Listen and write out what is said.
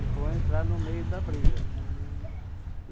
E vou entrar no meio da briga.